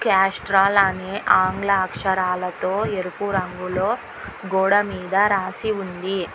క్యాస్ట్రాల అనే ఆంగ్ల అక్షరాలతో ఎరుపు రంగులో గోడమీద రాసి ఉంది.